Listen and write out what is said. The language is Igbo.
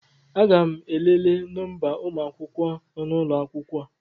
Aga m elele nọmba ụmụ akwụkwọ nọ n'ụlọ akwụkwọ